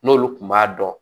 N'olu kun b'a dɔn